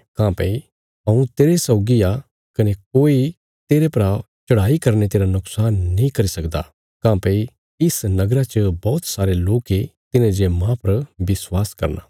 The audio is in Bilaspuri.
काँह्भई हऊँ तेरे सौगी आ कने कोई तेरे परा चढ़ाई करीने तेरा नुक्शान नीं करी सकदा काँह्भई इस नगरा च बौहत सारे लोक ये तिन्हांजे माह पर विश्वास करना